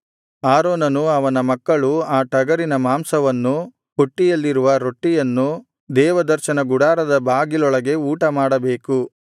ಆರೋನನೂ ಅವನ ಮಕ್ಕಳೂ ಆ ಟಗರಿನ ಮಾಂಸವನ್ನೂ ಪುಟ್ಟಿಯಲ್ಲಿರುವ ರೊಟ್ಟಿಯನ್ನೂ ದೇವದರ್ಶನ ಗುಡಾರದ ಬಾಗಿಲೊಳಗೆ ಊಟಮಾಡಬೇಕು